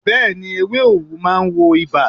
Bẹ́ẹ̀ni. Ewé òwú náà ma ń wo ibà.